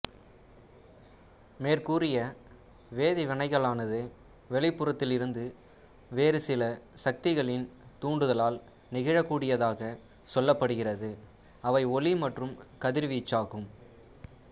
மேற்கூறிய வேதிவினைகளானது வெளிப்புறத்திலிருந்து வேறு சில சக்திகளின் துாண்டுதலால் நிகழக்கூடியதாக சொல்லப்படுகிறது அவை ஒளி மற்றும் கதிர்வீச்சாகும்